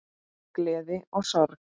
Gleði og sorg.